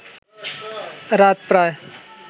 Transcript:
রাত প্রায়